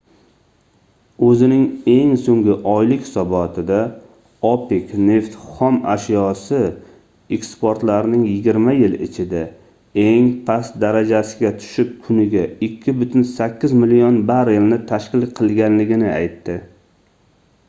oʻzining eng soʻnggi oylik hisobotida opec neft xom ashyosi eksportlarining yigirma yil ichida eng past darajasiga tushib kuniga 2,8 million barrelni tashkil qilganligini aytdi